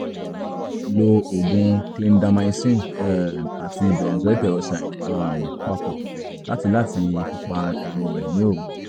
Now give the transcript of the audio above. - lo oògùn clindamycin um àti benzoyl peroxide um papọ̀ láti láti fi pa iroré ní òru